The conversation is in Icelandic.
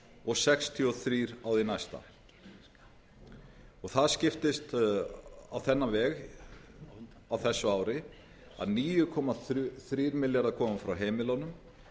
og sextíu og þrjú á því næsta þar skiptist á þennan veg á þessu ári að níu komma þrír milljarðar koma frá heimilunum